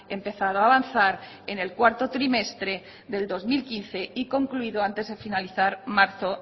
empezado a avanzar en el cuarto trimestre del dos mil quince y concluido antes de finalizar marzo